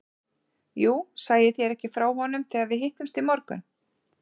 Jú, sagði ég þér ekki frá honum þegar við hittumst í morgun?